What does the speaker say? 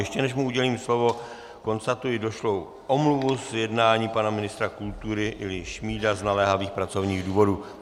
Ještě než mu udělím slovo, konstatuji došlou omluvu z jednání pana ministra kultury Ilji Šmída z naléhavých pracovních důvodů.